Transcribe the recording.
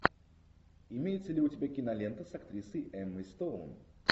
имеется ли у тебя кинолента с актрисой эммой стоун